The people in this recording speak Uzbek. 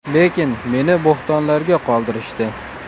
Lekin meni bo‘htonlarga qoldirishdi.